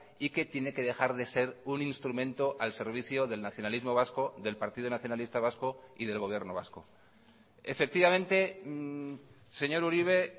y que tiene que dejar de ser un instrumento al servicio del nacionalismo vasco del partido nacionalista vasco y del gobierno vasco efectivamente señor uribe